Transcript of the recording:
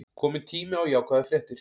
Kominn tími á jákvæðar fréttir